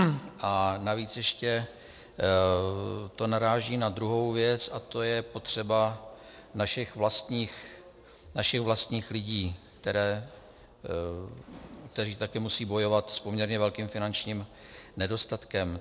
A navíc ještě to naráží na druhou věc a tou je potřeba našich vlastních lidí, kteří taky musí bojovat s poměrně velkým finančním nedostatkem.